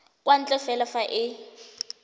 kwa ntle fela fa e